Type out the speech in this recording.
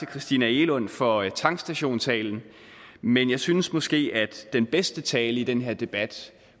christina egelund for tankstationtalen men jeg synes måske at den bedste tale i den her debat